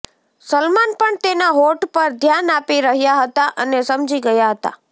સલમાન પણ તેના હોઠ પર ધ્યાન આપી રહ્યા હતા અને સમજી ગયા હતા